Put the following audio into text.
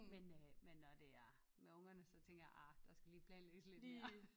Men øh men når det er med ungerne så tænker jeg ah der skal lige planlægges lidt mere